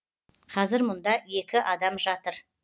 қазір мұнда екі адам жатыр